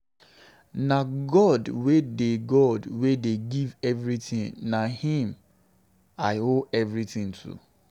Na God wey dey God wey dey give everything. Na him I owe everything to.